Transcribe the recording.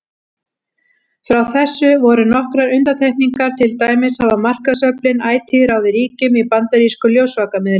Frá þessu voru nokkrar undantekningar, til dæmis hafa markaðsöflin ætíð ráðið ríkjum í bandarískum ljósvakamiðlum.